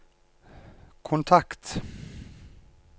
kontakt